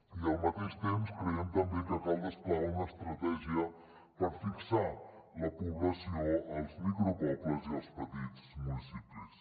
i al mateix temps creiem també que cal desplegar una estratègia per fixar la població als micropobles i als petits municipis